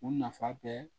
U nafa bɛɛ